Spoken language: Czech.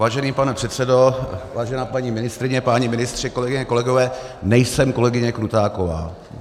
Vážený pane předsedo, vážená paní ministryně, páni ministři, kolegyně, kolegové, nejsem kolegyně Krutáková.